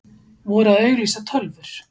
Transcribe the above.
Voru að auglýsa tölvur